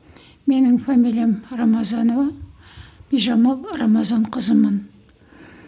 менің фамилиям рамазанова бижамал рамазан қызымын